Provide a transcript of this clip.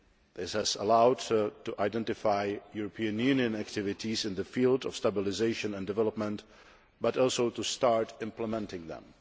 This has made it possible to identify European Union activities in the field of stabilisation and development, but also to start implementing them.